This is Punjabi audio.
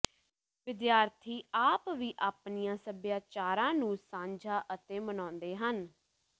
ਵਿਦਿਆਰਥੀ ਆਪ ਵੀ ਆਪਣੀਆਂ ਸਭਿਆਚਾਰਾਂ ਨੂੰ ਸਾਂਝਾ ਅਤੇ ਮਨਾਉਂਦੇ ਹਨ